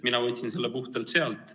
Mina võtsin selle puhtalt sealt.